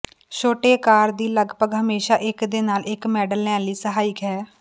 ਛੋਟੇ ਆਕਾਰ ਦੀ ਲਗਭਗ ਹਮੇਸ਼ਾ ਇੱਕ ਦੇ ਨਾਲ ਇੱਕ ਮਾਡਲ ਲੈਣ ਲਈ ਸਹਾਇਕ ਹੈ